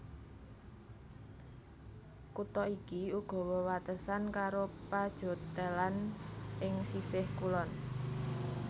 Kutha iki uga wewatesan karo Pajottenland ing sisih kulon